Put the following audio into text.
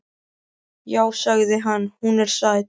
Já, sagði hann, hún er sæt.